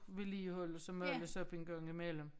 Vedligeholdes og males op en gang i mellem